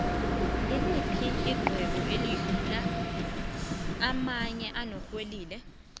ngiliphi ixhwebo elikhulu ukudlu amanye enorhenile